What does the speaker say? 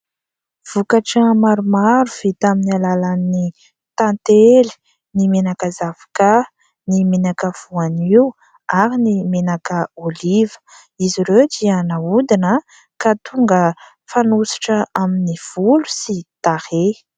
Vokatra maromaro vita amin'ny alalan'ny tantely, ny menaka zavoka, ny menaka voanio ary ny menaka oliva. Izy ireo dia naodina ka tonga fanosotra amin'ny volo sy tarehy.